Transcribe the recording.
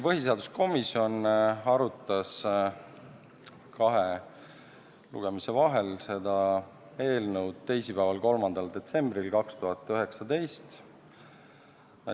Põhiseaduskomisjon arutas kahe lugemise vahel seda eelnõu teisipäeval, 3. detsembril 2019.